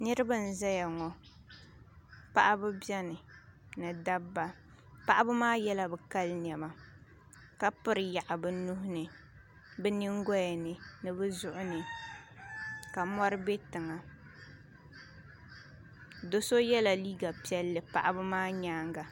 Niraba n ʒɛya ŋɔ paɣaba biɛni ni dabba paɣaba maa yɛla bi kali niɛma ka piri yaɣu bi nuhuni bi nyingoya ni ni bi zuɣu ni ka mɔri bɛ tiŋa do so yɛla liiga piɛlli paɣaba maa nyaanga